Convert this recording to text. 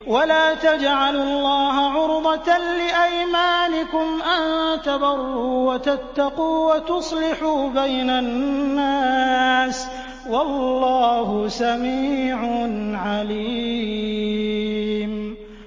وَلَا تَجْعَلُوا اللَّهَ عُرْضَةً لِّأَيْمَانِكُمْ أَن تَبَرُّوا وَتَتَّقُوا وَتُصْلِحُوا بَيْنَ النَّاسِ ۗ وَاللَّهُ سَمِيعٌ عَلِيمٌ